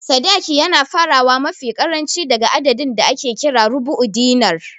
Sadaki yana farawa mafi ƙaranci daga adadin da ake kira "Rubu'u Dinar"